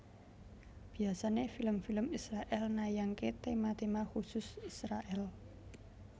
Biasané film film Israèl nayangaké téma téma kusus Israèl